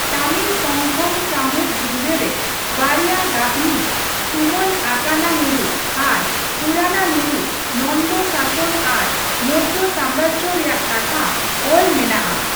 ᱛᱟᱢᱤᱞ ᱥᱚᱝᱜᱚᱢ ᱥᱟᱶᱦᱮᱫ ᱵᱤᱸᱰᱟ ᱨᱮ ᱵᱟᱨᱭᱟ ᱜᱟᱛᱷᱱᱤ ᱛᱩᱢᱟᱹᱞ 'ᱟᱠᱟᱱᱟᱱᱩᱨᱩ' ᱟᱨ 'ᱯᱩᱨᱟᱱᱟᱱᱩᱨᱩ' ᱱᱚᱱᱫᱚ ᱥᱟᱥᱚᱱ ᱟᱨ ᱢᱳᱨᱡᱚ ᱥᱟᱢᱨᱟᱡᱽᱡᱚ ᱨᱮᱭᱟᱜ ᱠᱟᱛᱷᱟ ᱚᱞ ᱢᱮᱱᱟᱜᱼᱟ ᱾